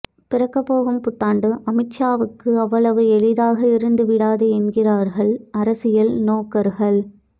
பிறக்கப்போகும் புத்தாண்டு அமித் ஷாவுக்கு அவ்வளவு எளிதாக இருந்துவிடாது என்கிறார்கள் அரசியல் நோக்கர்கள்